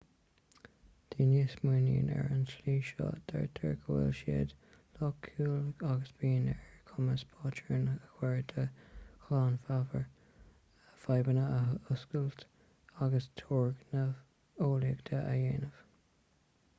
daoine a smaoiníonn ar an tslí seo deirtear go bhfuil siad loighciúil agus bíonn ar a gcumas patrúin a chur de ghlanmheabhair fadhbanna a fhuascailt agus turgnaimh eolaíochta a dhéanamh